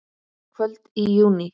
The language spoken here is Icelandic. Kvöld í júní.